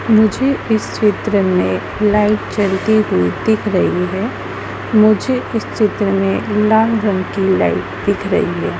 मुझे इस चित्र में लाइट जलती हुई दिख रही है मुझे इस चित्र में लाल रंग की लाइट दिख रही है।